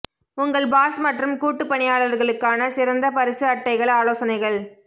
உங்கள் பாஸ் மற்றும் கூட்டு பணியாளர்களுக்கான சிறந்த பரிசு அட்டைகள் ஆலோசனைகள்